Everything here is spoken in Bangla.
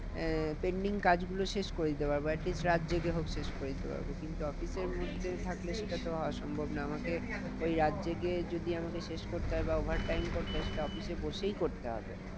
আহ pending কাজ গুলো শেষ করে দিতে পারবো at list রাত জেগে হোক শেষ করে দিতে পারবো। কিন্তু office এর মধ্যে থাকলে সেটা তো হওয়া সম্ভব নয়। আমাকে ওই রাত জেগে যদি আমাকে শেষ করতে হয় বা over time করতে হয় সেটা office এ বসেই করতে হবে।